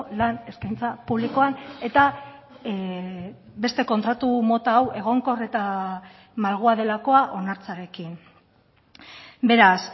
lan eskaintza publikoan eta beste kontratu mota hau egonkor eta malgua delakoa onartzearekin beraz